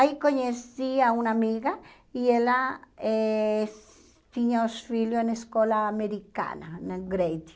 Aí conheci a uma amiga e ela eh tinha os filhos na escola americana, na Grady.